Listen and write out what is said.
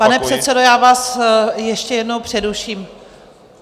Pane předsedo, já vás ještě jednou přeruším.